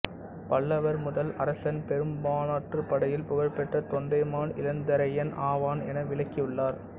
பல்லவர் முதல் அரசன் பெரும்பாணாற்றுப்படையில் புகழ்பெற்ற தொண்டைமான் இளந்திரையன் ஆவான் என விளக்கியுள்ளார்